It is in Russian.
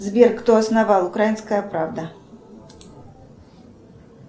сбер кто основал украинская правда